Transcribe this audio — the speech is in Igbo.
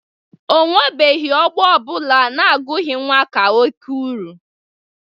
O nwebeghi ọgbọ ọ bụla na-agụgị nwa ka oke uru.